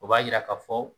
O b'a yira ka fɔ